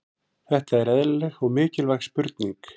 Þetta er eðlileg og mikilvæg spurning.